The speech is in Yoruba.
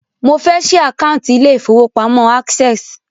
Mo fẹ́ ṣí àkántì ilé ìfọwọ́pamo Access.